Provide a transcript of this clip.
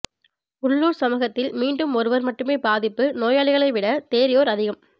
உள்ளூர் சமூகத்தில் மீண்டும் ஒருவர் மட்டுமே பாதிப்பு நோயாளிகளைவிட தேறியோர் அதிகம்